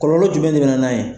Kɔlɔlɔ jumɛn de be na n'a ye?